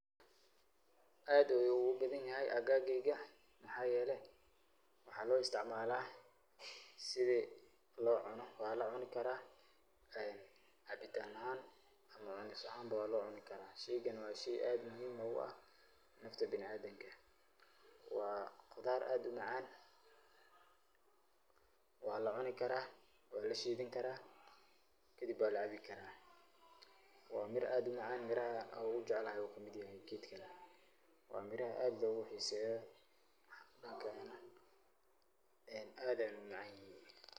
Aad ayu ugu bahanyahay bungi ka waxayeelay maxa lo isticmalah set Wala cuuni karah, cabitaan ahan iyo cuuni ahaan wa lo cuni karah sheeygan wa sheey aad muhim ugu aah wa wax aad u macan wa la cuuni karah Wala sheethi karah helib wa Meera aad u macan meeraha aad u jeeclathay wa meeraha lo xeeseyoh aad Aya u macanyahin.